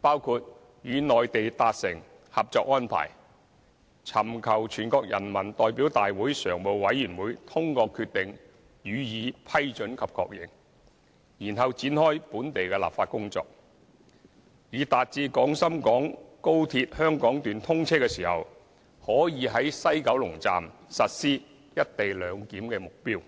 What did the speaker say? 包括與內地達成《合作安排》，尋求全國人民代表大會常務委員會通過決定予以批准及確認，然後展開本地立法工作，以達致廣深港高鐵香港段通車時可在西九龍站實施"一地兩檢"的目標。